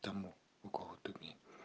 там город тумень